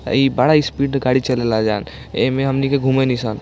आई बड़ा स्पीड का गाड़ी चला लजान एमें हमनी घूमेनि सब --